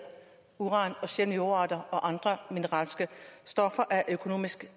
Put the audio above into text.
uran og sjældne jordarter og andre mineralske stoffer af økonomisk